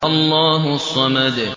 اللَّهُ الصَّمَدُ